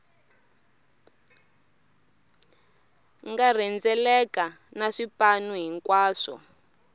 nga rhendzeleka na swipanu hinkwaswo